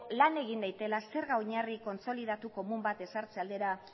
lan egin dadila zerga oinarri kontsolidatu komun bat ezartze aldera